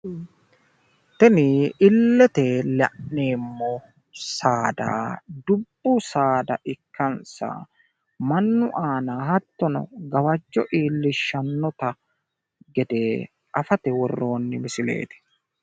Tini illete la'neemo Saada, dubbu Saada ikkansa mannu aana hattono gawajjo iillishanota gede afate worroonni misileeti